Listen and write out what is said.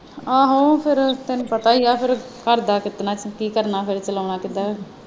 ਆਹੋ ਫਿਰ ਤੈਨੂੰ ਪਤਾ ਹੀ ਹੈ ਫਿਰ ਘਰ ਦਾ ਕਤਨਾ ਕੀ ਕਰਨਾ ਫਿਰ ਚੱਲਾਉਣਾ ਕਿਦਾਂ ਹੈ।